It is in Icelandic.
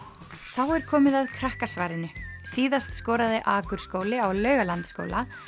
þá er komið að Krakkasvarinu síðast skoraði á Laugalandsskóla